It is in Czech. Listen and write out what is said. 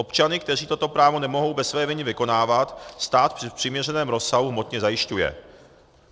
Občany, kteří toto právo nemohou bez své viny vykonávat, stát v přiměřeném rozsahu hmotně zajišťuje.